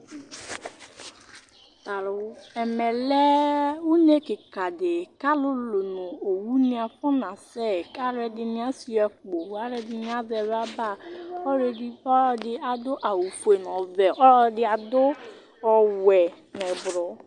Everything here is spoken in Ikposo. Ɛmɛ lɛ une kikã ɖi Ku ãlulu nu owu ni afuna sɛ Ku aluɛɖini ashua akpó, ku aluɛɖini azɛ lɔba, ɔludi, ɔlɔdi ãdu awu fue, nu ɔwɛ Ɔlɔdi ãdu ɔwɛ, nɛ blɔɔ